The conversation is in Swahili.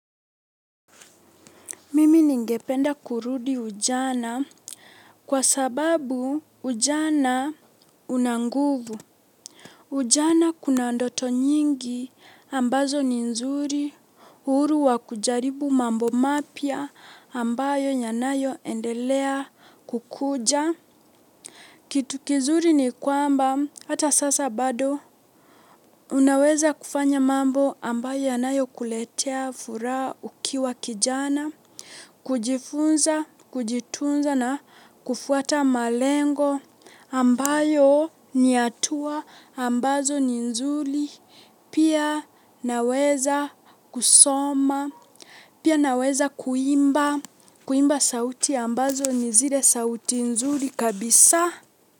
Mimi ningependa kurudi ujana kwa sababu ujana unanguvu. Ujana kuna ndoto nyingi ambazo ni nzuri uhuru wa kujaribu mambo mapya ambayo yanayo endelea kukuja. Kitu kizuri ni kwamba hata sasa bado. Unaweza kufanya mambo ambayo yanayo kuletea furaha ukiwa kijana, kujifunza, kujitunza na kufuata malengo ambayo ni hatua ambazo ni nzuri. Pia ninaweza kusoma, pia naweza kuimba, kuimba sauti ambazo ni zile sauti nzuri kabisa.